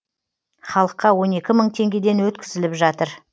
халыққа он екі мың теңгеден өткізіліп жатыр